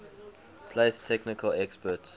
place technical experts